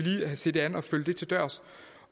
se det an og følge det til dørs